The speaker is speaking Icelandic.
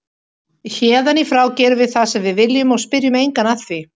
Héðan í frá gerum við það sem við viljum og spyrjum engan að því.